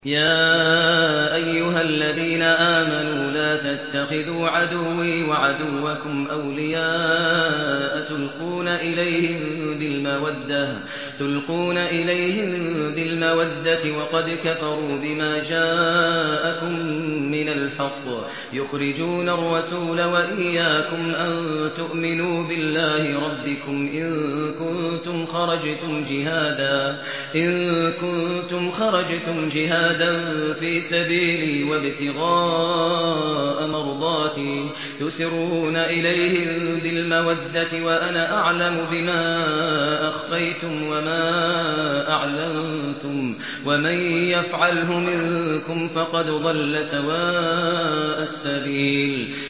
يَا أَيُّهَا الَّذِينَ آمَنُوا لَا تَتَّخِذُوا عَدُوِّي وَعَدُوَّكُمْ أَوْلِيَاءَ تُلْقُونَ إِلَيْهِم بِالْمَوَدَّةِ وَقَدْ كَفَرُوا بِمَا جَاءَكُم مِّنَ الْحَقِّ يُخْرِجُونَ الرَّسُولَ وَإِيَّاكُمْ ۙ أَن تُؤْمِنُوا بِاللَّهِ رَبِّكُمْ إِن كُنتُمْ خَرَجْتُمْ جِهَادًا فِي سَبِيلِي وَابْتِغَاءَ مَرْضَاتِي ۚ تُسِرُّونَ إِلَيْهِم بِالْمَوَدَّةِ وَأَنَا أَعْلَمُ بِمَا أَخْفَيْتُمْ وَمَا أَعْلَنتُمْ ۚ وَمَن يَفْعَلْهُ مِنكُمْ فَقَدْ ضَلَّ سَوَاءَ السَّبِيلِ